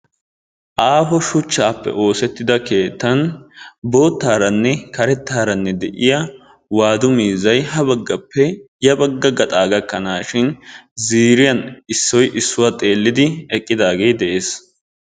aaho shuchchappe oosettida keettan boottaranne karettaranne de'iyaa waadu miizzay habaggappe yabagga gaxxa gakanashin ziiriyaan issoy issuwaa xeellidi eqqidaage de'ees.